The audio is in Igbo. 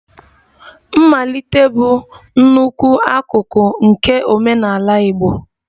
Mmalite bụ nnukwu akụkụ nke omenala Igbo